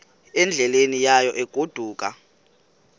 endleleni yayo egodukayo